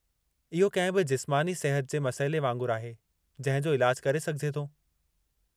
इहो कंहिं बि जिस्मानी सिहत जे मसइले वांगुरु आहे, जंहिं जो इलाजु करे सघिजे थो।